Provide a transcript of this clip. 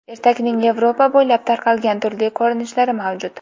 Ertakning Yevropa bo‘ylab tarqalgan turli ko‘rinishlari mavjud.